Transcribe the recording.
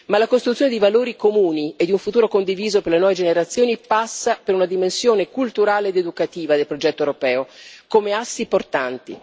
Ma la costruzione di valori comuni e di un futuro condiviso per le nuove generazioni passa per una dimensione culturale ed educativa del progetto europeo, come assi portanti.